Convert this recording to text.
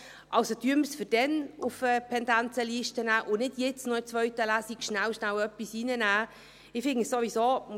Nehmen wir es also für dann auf die Pendenzenliste, und nehmen wir es jetzt nicht schnell, schnell in die zweite Lesung.